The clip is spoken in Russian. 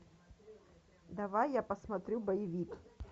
давай я посмотрю боевик